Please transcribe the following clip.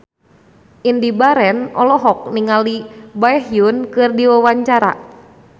Indy Barens olohok ningali Baekhyun keur diwawancara